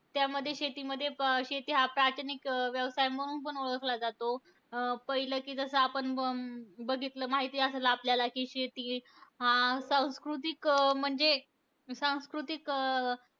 त्यामध्ये शेतीमध्ये, प शेती हा प्रातिनिक व्यवसाय म्हणून पण ओळखला जातो. पहिले की जसं आपण अं बघितलं, माहिती आसंल आपल्याला की शेती, अं सांस्कृतिक म्हणजे, सांस्कृतिक अं